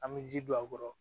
An bɛ ji don a kɔrɔ